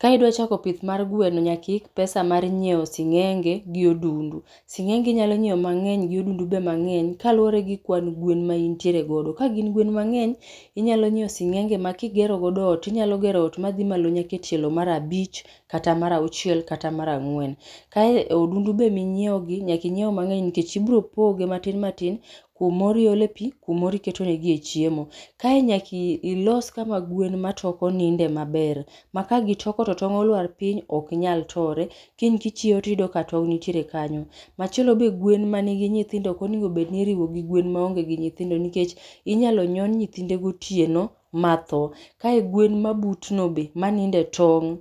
Ka idwa chako pith mar gweno nyaka iik pesa mar nyieo sing'enge gi odundu. Sing'enge inyalo nyieo mang'eny gi odundu be mang'eny kaluwore gi kwan gwen ma intiere godo. Ka gin gwen mang'eny, inyalo nyieo sing'enge ma kigero godo ot tinyalo gero ot madhi malo nyaka e tielo marabich, kata mar auchiel kata mar ang'wen. Kae odundu be minyieo gi nyaka inyieo mang'eny nkech ibro poge matin matin, kumoro iole pii, kumoro iketo negie chiemo. Kae nyaka ii los kuma gwen ma toko ninde maber, ma kagitoko to tong' olwar piny, oknyal tore, kiny kichieo tiyudo ka tong' ntiere kanyo. Machielo be gwen manigi nyithindo okoneg bedni iriwo gi gweno maonge gi nyithindo nikech inyalo nyon nyithinde gotieno mathoo. Kae gwen ma butno be, maninde tong',